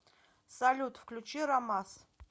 салют включи рамас